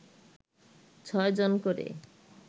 ছয় জন করে